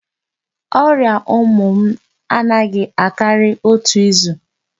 Ọrịa ụmụ m anaghị akari otu izu.